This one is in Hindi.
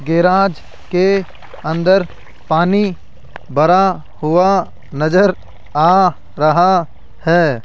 गेराज के अंदर पानी भरा हुआ नजर आ रहा है।